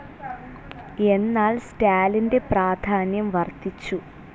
എന്നാൽ സ്റ്റാലിൻ്റെ പ്രാധാന്യം വർധിച്ചു.